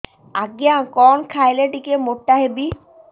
ଆଜ୍ଞା କଣ୍ ଖାଇଲେ ଟିକିଏ ମୋଟା ହେବି